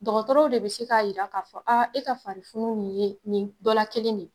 Dɔkɔtɔrɔ de bi se k'a yira k'a fɔ, e ka farifunun ye nin dɔ la kelen de ye.